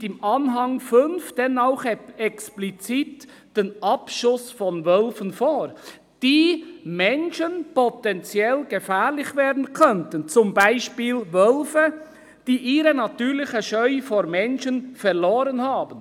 ] sieht im Anhang 5 denn auch explizit den Abschuss von Wölfen vor, die Menschen potenziell gefährlich werden könnten, wie z. B. Wölfe, die ihre natürliche Scheu vor Menschen verloren haben.